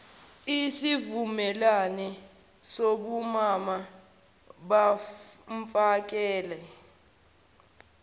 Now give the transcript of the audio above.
isivumelwane sobumama bomfakela